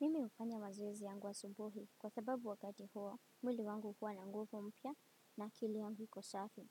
Mimi hufanya mazowezi yangu asubuhi kwa sababu wakati huo mwili wangu huwa na nguvu mpya na akili yangu iko safi.